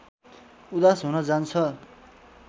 उदास हुन जान्छ